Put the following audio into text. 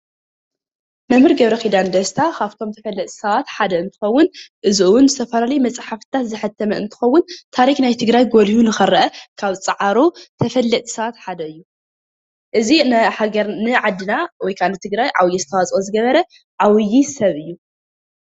መም/ር ገብረኪዳን ደስታ ካብቶም ተፈለጥቲ ሰባት ሓደ እንትከውን እዚ እውን ዝተፈላለየ መፅሓፍትታት ዘሐተመ እንትከውን ታሪክ ናይ ትግራይ ጎሊሁ ንክረአ ካብ ዝፃዓሩ ተፈለጥቲ ሰባት ሓደ እዩ፡፡ እዚ ንዓድና ወይ ከዓ ንትግራይ ዓብይ ኣስተዋፅኦ ዝገበረ ዓብይ ሰብ እዩ፡፡